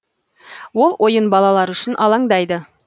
ол ойын балалары үшін алаңдайды